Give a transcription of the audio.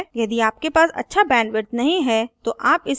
यदि आपके पास अच्छा bandwidth नहीं है तो आप इसे download करके देख सकते हैं